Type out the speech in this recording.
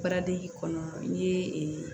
Paradi kɔnɔ n'i ye